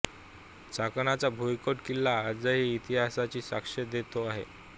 चाकणचा भुईकोट किल्ला आजही इतिहासाची साक्ष देतो आहे